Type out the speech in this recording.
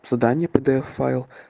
задание пдф файл